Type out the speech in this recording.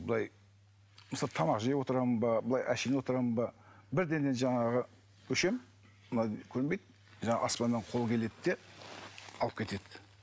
былай мысалы тамақ жеп отырамын ба былай әшейін отырамын ба бірдеңе жаңағы көнбейді жаңағы аспаннан қол келеді де алып кетеді